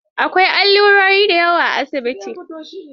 An kawo allurai da yawa asibitin.